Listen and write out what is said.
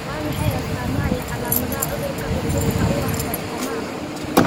Waa maxay astamaha iyo calaamadaha cudurka xudunta u ah Bartamaha?